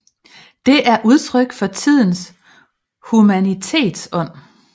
Det er udtryk for tidens humanitetsånd